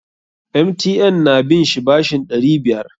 MTN na bin shi bashin ɗari biyar.